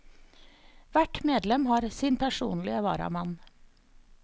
Hvert medlem har sin personlige varamann.